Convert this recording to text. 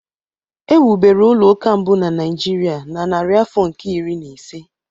E wubere ụlọ ụka mbụ na Nigeria na narị afọ nke iri na ise.